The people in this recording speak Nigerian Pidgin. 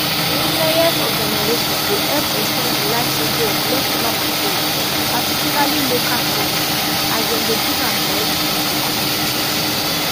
ihunenyes organisation dey help ex ten d di lifecycle of leftover materials particularly local cotton as dem dey give am directly to communities